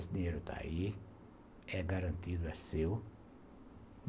Esse dinheiro está aí, é garantido, é seu.